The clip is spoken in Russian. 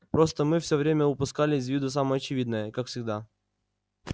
просто мы все время упускали из виду самое очевидное как всегда